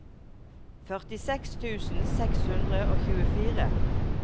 førtiseks tusen seks hundre og tjuefire